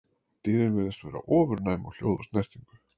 Dýrin virðast vera ofurnæm á hljóð og snertingu.